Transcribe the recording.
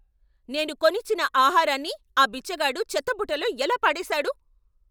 నేను కొనిచ్చిన ఆహారాన్ని ఆ బిచ్చగాడు చెత్తబుట్టలో ఎలా పడేసాడు?